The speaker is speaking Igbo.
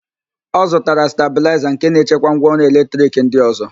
Ọ zụtara stabịlaịza nke na-echekwa ngwaọrụ eletrik ndị ọ̀zọ́.